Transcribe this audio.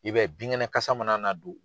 I bɛ ye bin kɛnɛ kasa mana na don.